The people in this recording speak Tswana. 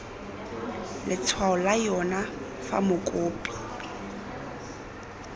letshwao la yona fa mokopi